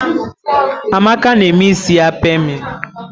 Amaka na eme isi ya pamịn.